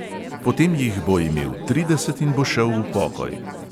Potem jih bo imel trideset in bo šel v pokoj.